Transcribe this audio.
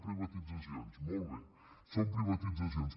titzacions molt bé són privatitzacions